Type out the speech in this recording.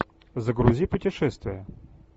загрузи путешествия